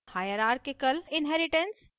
hierarchical inheritance